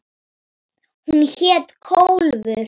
Hún hét Kólfur.